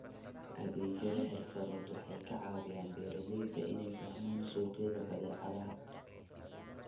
Adeegyada xirfadeed waxay ka caawiyaan beeralayda inay fahmaan suuqyada badeecadaha.